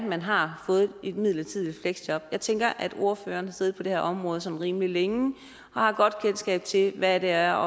man har fået et midlertidigt fleksjob jeg tænker at ordføreren har siddet på det her område rimelig længe og har et godt kendskab til hvad det er